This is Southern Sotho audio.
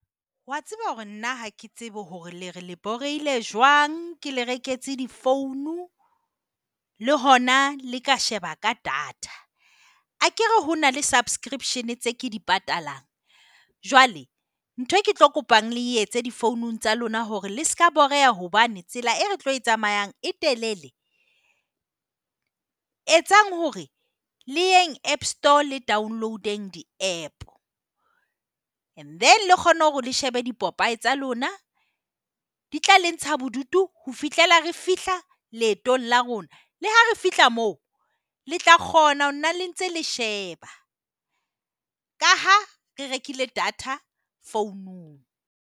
Wa tseba hore nna ha ke tsebe hore le re le borehile jwang ke le reketse di-phone. Le hona le ka sheba ka data akere ho na le subscription tseo ke di patalang. Jwale ntho eo ke tlo kopang le e etse di-phone-ng tsa lona ke hore le seka boreha hobane tsela eo re tlo e tsamayang e telele. Etsang hore le eng app store le download-ng di-app. And then le kgona hore le shebe dipopaye tsa lona, di tla le ntshana bodutu ho fihlela re fihla leetong la rona. Le ha re fihla moo, le tla kgona ho na le ntse le sheba ka ha re rekile data founong.